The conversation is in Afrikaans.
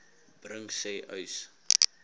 bring sê uys